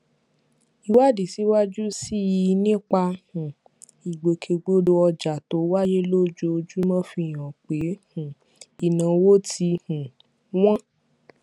ìwádìí síwájú sí i nípa um ìgbòkègbodò ọjà tó wáyé lójoojúmọ fi hàn pé um ìnáwó tí um wọn